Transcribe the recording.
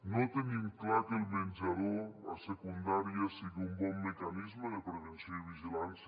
no tenim clar que el menjador a secundària sigui un bon mecanisme de prevenció i vigilància